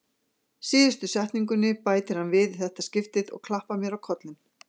Síðustu setningunni bætir hann við í þetta skipti og klappar mér á kollinn.